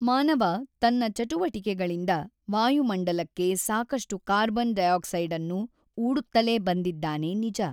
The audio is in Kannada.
ಮಾನವ ತನ್ನ ಚಟುವಟಿಕೆಗಳಿಂದ ವಾಯುಮಂಡಲಕ್ಕೆ ಸಾಕಷ್ಟು ಕಾರ್ಬನ್ ಡೈಆಕ್ಸೈಡನ್ನು ಊಡುತ್ತಲೇ ಬಂದಿದ್ದಾನೆ ನಿಜ.